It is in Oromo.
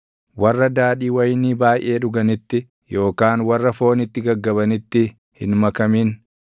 Warra daadhii wayinii baayʼee dhuganitti yookaan warra foonitti gaggabanitti hin makamin;